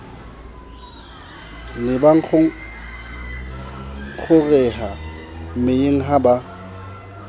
ne bangongoreha meyeng ha ba